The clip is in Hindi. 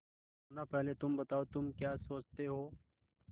मुन्ना पहले तुम बताओ तुम क्या सोचते हो